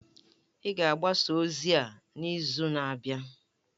A ga-agbasa ozi a n'izu na-abịa.